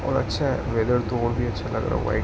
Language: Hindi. और अच्छा है वेदर तो और भी अच्छा हैं लग रहा वाइट --